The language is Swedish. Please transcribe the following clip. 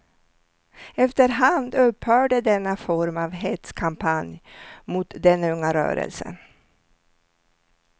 Efter hand upphörde denna form av hetskampanj mot den unga rörelsen.